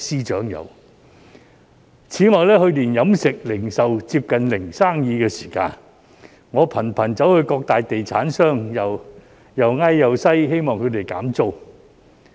此外，去年飲食、零售接近"零生意"的時候，我頻頻向各大地產商苦苦哀求，希望他們減租。